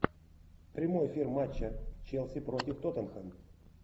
прямой эфир матча челси против тоттенхэм